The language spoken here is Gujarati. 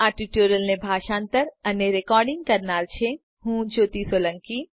આ ટ્યુટોરીયલને ભાષાંતર કરનાર છે જ્યોતિ સોલંકી